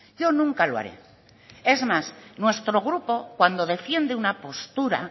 yo nunca lo haré es más nuestro grupo cuando defiende una postura